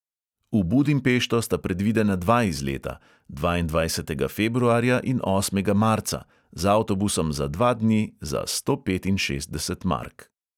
V budimpešto sta predvidena dva izleta – dvaindvajsetega februarja in osmega marca, z avtobusom za dva dni za sto petinšestdeset mark.